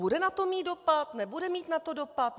Bude na to mít dopad, nebude na to mít dopad?